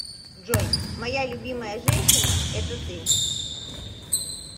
джой моя любимая женщина это ты